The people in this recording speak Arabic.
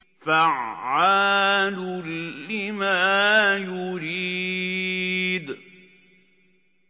فَعَّالٌ لِّمَا يُرِيدُ